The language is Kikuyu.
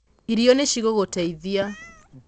irio nĩ cigũgũteithia